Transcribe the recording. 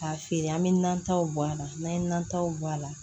K'a feere an bɛ nan taw a la n'an ye nantaw bɔ a la